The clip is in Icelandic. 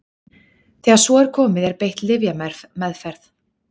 Þegar svo er komið er beitt lyfjameðferð.